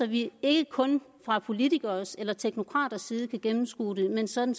vi ikke kun fra politikeres eller teknokraters side kan gennemskue det men sådan